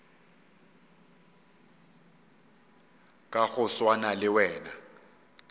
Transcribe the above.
ka go swana le wena